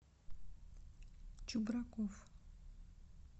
чубраков